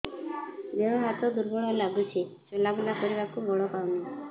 ଦେହ ହାତ ଦୁର୍ବଳ ଲାଗୁଛି ଚଲାବୁଲା କରିବାକୁ ବଳ ପାଉନି